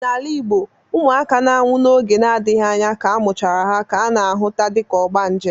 N'ala Igbo, ụmụaka na-anwụ n'oge na-adịghị anya ka amụchara ha ka ana ahụta dịka ogbanje.